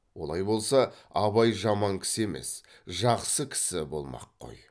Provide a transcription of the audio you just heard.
олай болса абай жаман кісі емес жақсы кісі болмақ қой